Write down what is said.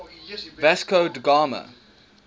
vasco da gama